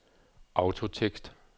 autotekst